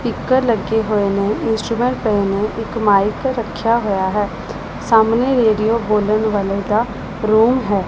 Speaker ਲੱਗੇ ਹੋਏ ਨੇ ਇੰਸਟਰੂਮੈਂਟ ਪਏ ਨੇ ਇੱਕ ਮਾਈਕ ਰੱਖਿਆ ਹੋਇਆ ਹੈ ਸਾਹਮਣੇ ਰੇਡੀਓ ਬੋਲਣ ਵਾਲੇ ਦਾ ਰੂਮ ਹੈ।